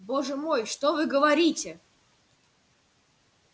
боже мой что вы говорите